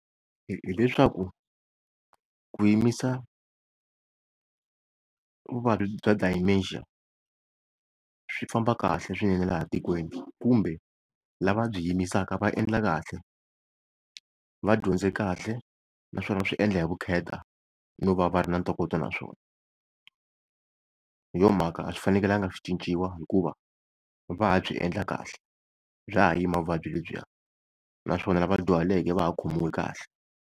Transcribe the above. Hileswaku ku yimisa vuvabyi bya Dementia swi famba kahle swinene laha tikweni kumbe lava byi yimisaka va endla kahle va dyondze kahle naswona va swi endla hi vukheta no va va ri na ntokoto naswona. Hi yo mhaka a swi fanekelanga swi cinciwa hikuva va ha byi endla kahle, bya ha yima vuvabyi lebyiwa naswona lava dyuhaleke va ha khomiwi kahle.